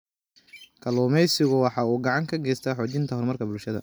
Kalluumaysigu waxa uu gacan ka geystaa xoojinta horumarka bulshada.